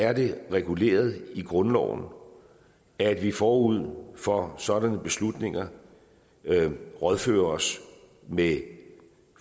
er det reguleret i grundloven at vi forud for sådanne beslutninger rådfører os med